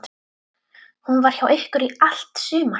Hún var hjá ykkur í allt sumar.